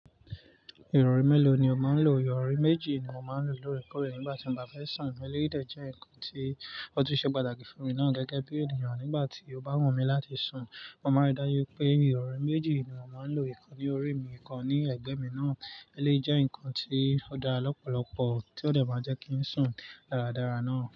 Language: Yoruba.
Ìrorí mélòó ni ó máa ń lò? Ìrọ̀rí méjì ni mo máa ń lò lóore kòre nígbà tí mo bá fẹ́ sùn. Eléyií dẹ̀ jẹ́ nǹkan tí ó ti ṣe pàtàkì fún mi ná gẹ́gẹ́ bí ènìyàn nígbà tí ó bá wù mí láti sùn. Mo máa ń rí dáju wipé ìrọ̀rí méjì ni mo máa ń lò: ìkan ní orí mi, ìkan ní ẹ̀gbẹ́ mi náà. Eléyii jẹ́ nǹkan tí ó da lọ́pọ̀lọpọ̀, tí ó de máa jẹ́ kí n sùn dáradára náà.